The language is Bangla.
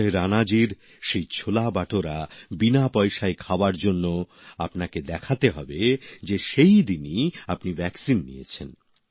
সঞ্জয় রাণাজির সেই ছোলা বাটোরা বিনা পয়সায় খাওয়ার জন্য আপনাকে দেখাতে হবে যে সেই দিনই আপনি টিকা নিয়েছেন